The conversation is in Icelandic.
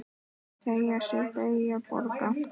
Teygja sig, beygja, bogra.